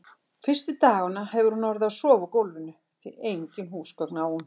Fyrstu dagana hefur hún orðið að sofa á gólfinu, því engin húsgögn á hún.